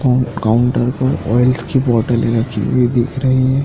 और काउंटर पर ऑयल्स की बॉटले रखी हुई दिख रही हैं।